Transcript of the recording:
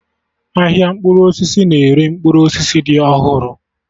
Ahịa mkpụrụ osisi na-ere mkpụrụ osisi dị ọhụrụ